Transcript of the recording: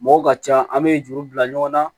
Mɔgɔw ka ca an be juru bila ɲɔgɔn na